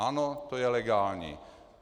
Ano, to je legální.